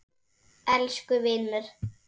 Elsku vinur.